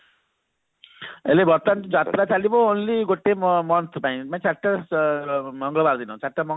ଏବେ ବର୍ତମାନ ଯୋଉ ଯାତ୍ରା ଚାଲିବ only ଗୋଟେ ଗୋଟେ month ପାଇଁ ମାନେ ଚାରିଟା ସ ମଙ୍ଗଳବାର ଦିନ ମଙ୍ଗଳବାର ଦିନ